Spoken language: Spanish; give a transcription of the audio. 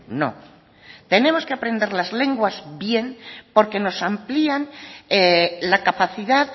no tenemos que aprender las lenguas bien porque nos amplían la capacidad